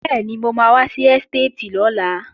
Bẹ́ẹ̀ni, mo máa wá sí ẹ́stéètì lọ́la